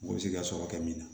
Mugu bɛ se k'i ka sɔrɔ kɛ min na